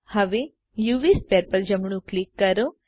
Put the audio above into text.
હવે UV sphere પર જમણું ક્લિક કરો